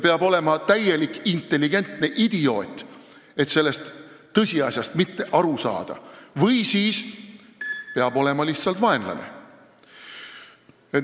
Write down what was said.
Peab olema täielik intelligentne idioot, et sellest tõsiasjast mitte aru saada, või siis lihtsalt vaenlane.